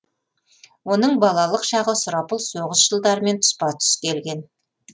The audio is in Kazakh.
оның балалық шағы сұрапыл соғыс жылдарымен тұспа тұс келген